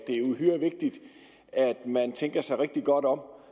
er uhyre vigtigt at man tænker sig rigtig godt om